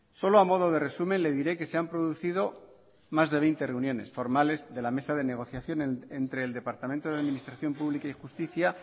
solo a modo de resumen le diré que se han producido más de veinte reuniones formales de la mesa de negociación entre el departamento de administración pública y justicia